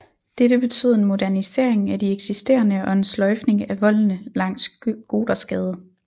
Dette betød en modernisering af de ekisterende og en sløjfning af voldene langs Gothersgade